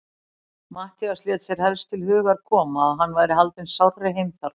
Matthías lét sér helst til hugar koma, að hann væri haldinn sárri heimþrá.